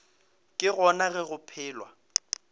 ke gona ge go phelwa